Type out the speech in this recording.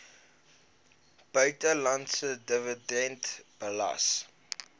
buitelandse dividend belas